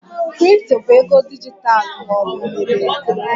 Kripto bụ ego dijitalụ ma ọ bụ mebere